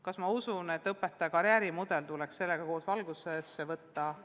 Kas ma usun, et õpetaja karjäärimudel tuleks sellega koos arutluse alla võtta?